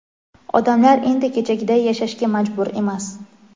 odamlar endi kechagiday yashashga majbur emas.